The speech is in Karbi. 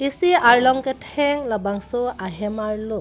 isi harlong ketheng labangso ahem arlo.